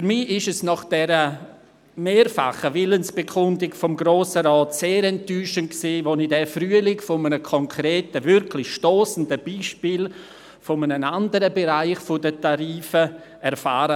Für mich war es nach dieser mehrfachen Willensbekundung des Grossen Rates sehr enttäuschend, als ich diesen Frühling von einem konkreten, wirklich stossenden Beispiel in einem anderen Bereich der Tarife erfuhr.